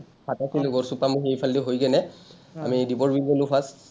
গড়চুক পামহি এইফালেদি হৈ কেনে। আমি দীপৰ বিল গ’লো first,